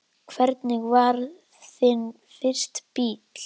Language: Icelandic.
Hvernig var þinn fyrsti bíll?